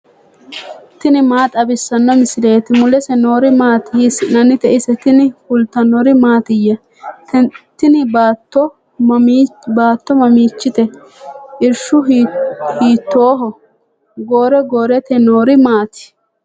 tini maa xawissanno misileeti ? mulese noori maati ? hiissinannite ise ? tini kultannori mattiya? tini baatto mamichite? irishu hiittoho? goro goorotte noori maatti?